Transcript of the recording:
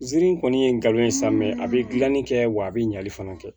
Ziiri kɔni ye n galon ye sa mɛ a bɛ gilanni kɛ wa a bɛ ɲali fana kɛ